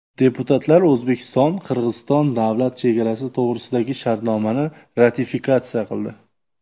Deputatlar O‘zbekiston-Qirg‘iziston davlat chegarasi to‘g‘risidagi shartnomani ratifikatsiya qildi.